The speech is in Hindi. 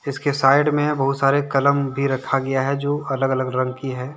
इसके साइड में बहुत सारे कलम भी रखा गया है जो अलग अलग रंग की हैं।